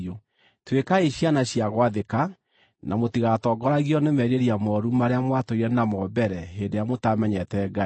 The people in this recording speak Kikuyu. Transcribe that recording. Tuĩkai ciana cia gwathĩka, na mũtigatongoragio nĩ merirĩria mooru marĩa mwatũire namo mbere hĩndĩ ĩrĩa mũtaamenyete Ngai.